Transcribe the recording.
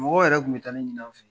Mɔgɔ yɛrɛ tun bɛ taa ne ɲini aw fɛ yen